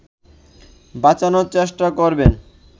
বাঁচানোর চেষ্টা করবেন